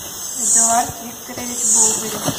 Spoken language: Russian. эдуард викторович болдырев